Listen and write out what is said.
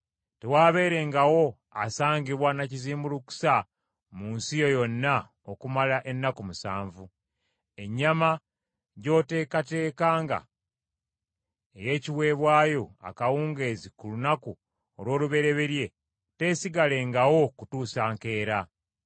Tewaabeerengawo asangibwa na kizimbulukusa mu nsi yo yonna okumalanga ennaku musanvu. Ennyama gy’onooteekateekanga, ey’ekiweebwayo, akawungeezi ku lunaku olw’olubereberye teesigalengawo kutuusa nkeera.